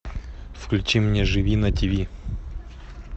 включи мне живи на тв